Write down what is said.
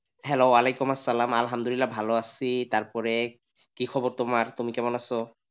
Hello ওয়ালাইকুম আসসালাম আলহামদুল্লিলা ভালো আছি তারপরে কি খবর তোমার? তুমি কেমন আছো?